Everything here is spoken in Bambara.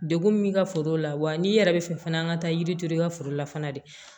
Degun min ka foro la wa n'i yɛrɛ bɛ fɛ fana an ka taa yiri to i ka foro la fana de